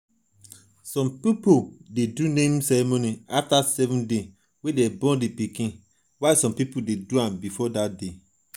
some pipo de do naming ceremony after 7 days wey dem born di pikin